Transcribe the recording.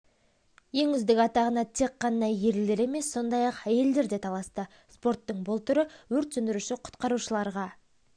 ең үздік атағына тек қана ерлер емес сондай-ақ әйелдер де таласты спорттың бұл түрі өрт сөндіруші-құтқарушыларға